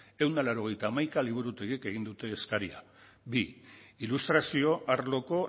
ehun eta laurogeita hamaika liburutegik egin dute eskaria bi ilustrazio arloko